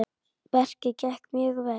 Verkið gekk mjög vel.